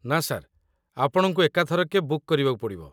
ନା ସାର୍, ଆପଣଙ୍କୁ ଏକାଥରକେ ବୁକ୍ କରିବାକୁ ପଡ଼ିବ ।